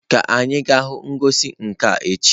Ka anyị gaa hụ ngosi nka echi.